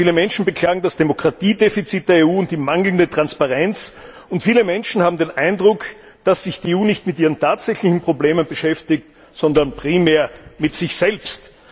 Viele Menschen beklagen das Demokratiedefizit der EU und die mangelnde Transparenz. Und viele Menschen haben den Eindruck, dass sich die EU nicht mit ihren tatsächlichen Problemen beschäftigt, sondern primär mit sich selbst.